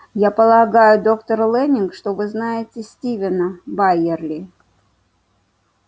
я полагаю доктор лэннинг что вы знаете стивена байерли